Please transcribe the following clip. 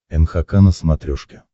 нхк на смотрешке